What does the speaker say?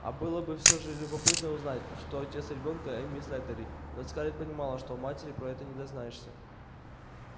а было бы все же любопытно узнать кто отец ребёнка эмми слэттери но скарлетт понимала что у матери про это не дознаешься